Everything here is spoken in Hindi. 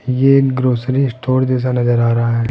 ये एक ग्रॉसरी स्टोअर जैसा नजर आ रहा हैं।